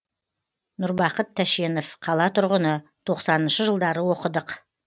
нұрбақыт тәшенов қала тұрғыны тоқсаныншы жылдары оқыдық